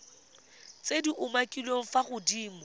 tse di umakiliweng fa godimo